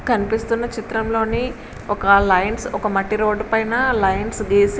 కనిపిస్తున్న చిత్రం లోని ఒక లైన్స్ ఒక మట్టి రోడ్డు పైన లైన్స్ గీసి --